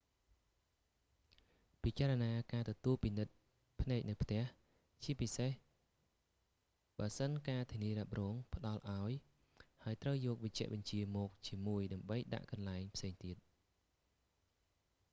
ពិចារណាការទទួលពិនិត្យភ្នែកនៅផ្ទះ ជាពិសេសបើសិនការធានារ៉ាប់រងផ្តល់ឱ្យ ហើយត្រូវយកវេជ្ជបញ្ជាមកជាមួយដើម្បីដាក់កន្លែងផ្សេងទៀត